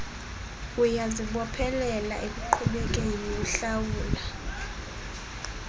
uyazibophelela ekuqhubekeni uhlawula